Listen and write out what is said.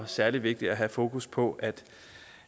særlig vigtigt at have fokus på at